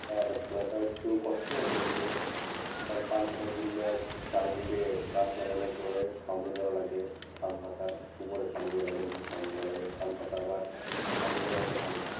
লক্ষ্য রাখাও একটু কষ্টকর কিন্তু কারণ পান পাতার জন্য চারিদিকে গাছ লাগানোর পরে ছাউনি দেওয়া লাগে, পান পাতার ওপরে ছাউনি দেওয়া লাগে নিচে ছাউনি দেওয়া লাগে পান পাতা আবার ছাউনি জায়গাতে ভালো হয়।